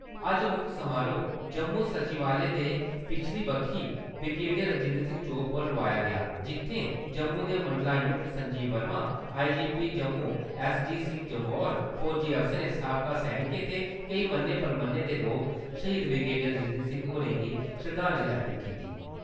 अज्ज मुक्ख समारोह् जम्मू सचिवालय दे पिच्छली बक्खी ब्रिगेडियर राजेन्द्र सिंह चौक पर लोआया गेआ, जित्थैं जम्मू दे मंडलायुक्त संजीव वर्मा, आई.जी.पी जम्मू एस.डी. सिंह जम्वाल, फौजी अफसरें, साबका सैनिकें ते केईं मन्ने–परमन्ने दे लोकें श्हीद ब्रिगेडियर राजेन्द्र सिंह होरें गी शरदांजलि अर्पत कीती।